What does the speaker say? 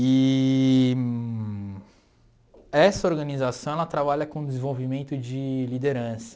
Eee essa organização ela trabalha com o desenvolvimento de liderança.